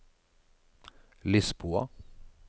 Lisboa